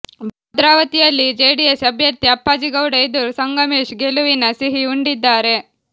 ಭದ್ರಾವತಿಯಲ್ಲಿ ಜೆಡಿಎಸ್ ಅಭ್ಯರ್ಥಿ ಅಪ್ಪಾಜಿಗೌಡ ಎದುರು ಸಂಗಮೇಶ್ ಗೆಲುವಿನ ಸಿಹಿ ಉಂಡಿದ್ದಾರೆ